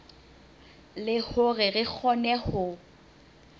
le hore re kgone ho